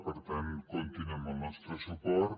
per tant comptin amb el nostre suport